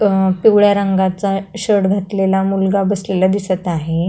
अ पिवळ्या रंगाचा शर्ट घातलेला मुलगा बसलेला दिसत आहे.